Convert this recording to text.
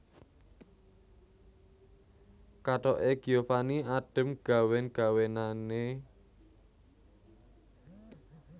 Kathok e Giovanni adem gawen gawenane